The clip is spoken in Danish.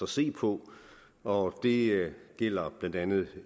se på og det gælder blandt andet